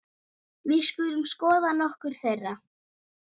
Við skulum skoða nokkur þeirra